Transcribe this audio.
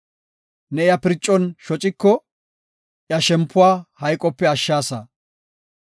Ne iya pircon shociko, iya shempuwa hayqope ashshaasa.